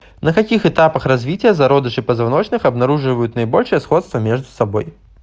на каких этапах развития зародыши позвоночных обнаруживают наибольшее сходство между собой